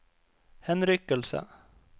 henrykkelse